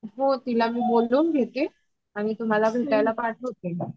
हो तिला मी बोलून घेते आणि तुम्हाला भेटायला पाठवते मग